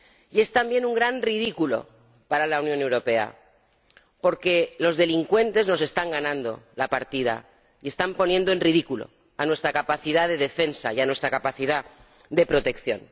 Y es también un gran ridículo para la Unión Europea, porque los delincuentes nos están ganando la partida y están poniendo en ridículo nuestra capacidad de defensa y nuestra capacidad de protección.